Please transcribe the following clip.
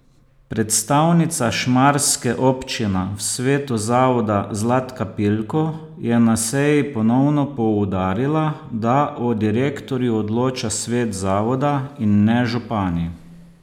Predstavnica šmarske občina v svetu zavoda Zlatka Pilko je na seji ponovno poudarila, da o direktorju odloča svet zavoda in ne župani.